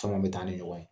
Caman bɛ taa ni ɲɔgɔn ye